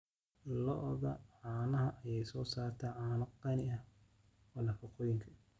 Lo'da caanaha ayaa soo saarta caano qani ku ah nafaqooyinka.